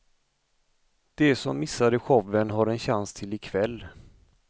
De som missade showen har en chans till ikväll.